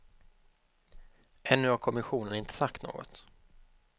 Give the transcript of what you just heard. Ännu har kommissionen inte sagt något.